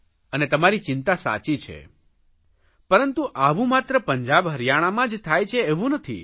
અને તમારી ચિંતા સાચી છે પરંતુ આવું માત્ર પંજાબ હરિયાણામાં જ થાય છે એવું નથી